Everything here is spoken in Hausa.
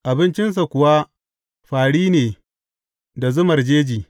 Abincinsa kuwa fāri ne da zumar jeji.